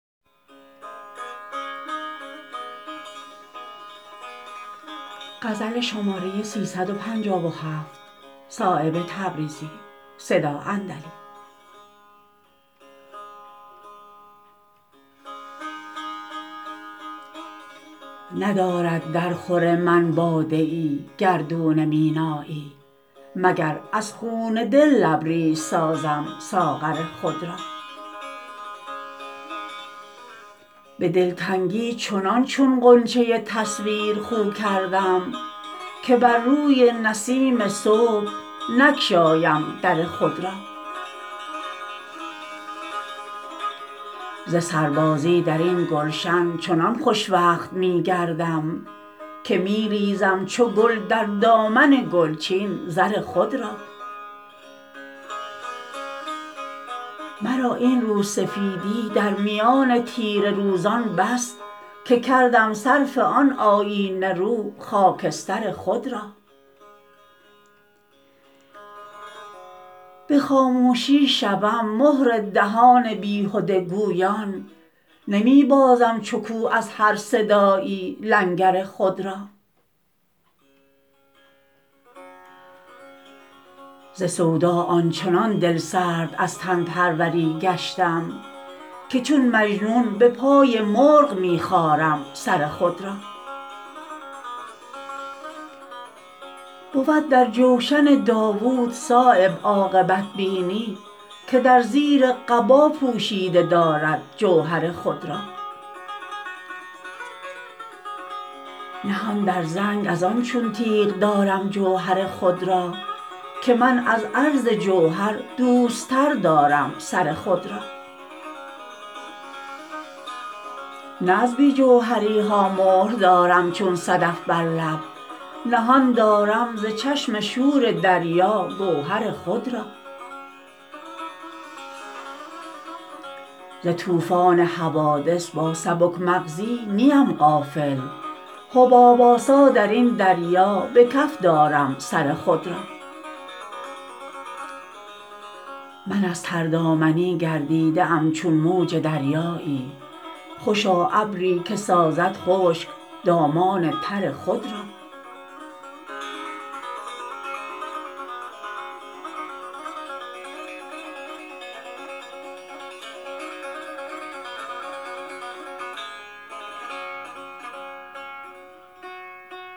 ندارد در خور من باده ای گردون مینایی مگر از خون دل لبریز سازم ساغر خود را به دلتنگی چنان چون غنچه تصویر خو کردم که بر روی نسیم صبح نگشایم در خود را ز سربازی درین گلشن چنان خوشوقت می گردم که می ریزم چو گل در دامن گلچین زر خود را مرا این روسفیدی در میان تیره روزان بس که کردم صرف آن آیینه رو خاکستر خود را به خاموشی شوم مهر دهان بیهوده گویان را نمی بازم چو کوه از هر صدایی لنگر خود را ز سودا آنچنان دلسرد از تن پروری گشتم که چون مجنون به پای مرغ می خارم سر خود را بود در جوشن داود صایب عاقبت بینی که در زیر قبا پوشیده دارد جوهر خود را نهان در زنگ ازان چون تیغ دارم جوهر خود را که من از عرض جوهر دوست تر دارم سر خود را نه از بی جوهری ها مهر دارم چون صدف بر لب نهان دارم ز چشم شور دریا گوهر خود را ز طوفان حوادث با سبک مغزی نیم غافل حباب آسا درین دریا به کف دارم سر خود را من از تردامنی گردیده ام چون موج دریایی خوشا ابری که سازد خشک دامان تر خود را